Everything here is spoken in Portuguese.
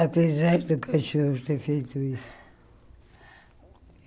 Apesar do cachorro ter feito isso.